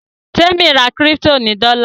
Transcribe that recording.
Temi rà crypto ní dola.